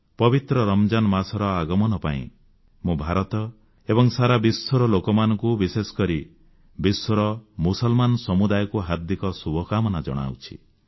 ପବିତ୍ର ରମଜାନ୍ ମାସର ଆଗମନ ପାଇଁ ମୁଁ ଭାରତ ଏବଂ ସାରା ବିଶ୍ୱର ଲୋକମାନଙ୍କୁ ବିଶେଷ କରି ବିଶ୍ୱର ମୁସଲମାନ ସମୁଦାୟକୁ ହାର୍ଦ୍ଦିକ ଶୁଭକାମନା ଜଣାଉଛି